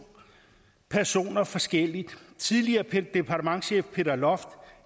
personer forskelligt tidligere departementschef peter loft